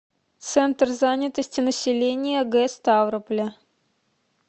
центр занятости населения г ставрополя